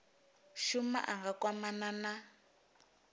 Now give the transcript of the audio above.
shuma a nga kwamana na